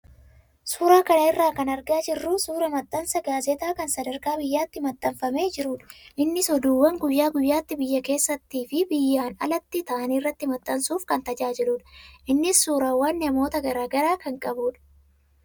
Suuraa kana irraa kan argaa jirru suuraa maxxansa gaazexaa kan sadarkaa biyyaatti maxxanfamee jirudha. Innis oduuwwaan guyyaa guyyaatti biyya keessattii fi biyyaan alatti ta'an irratti maxxansuuf kan tajaajiludha. Innis suuraawwan namoota garaagaraa kan qabudha.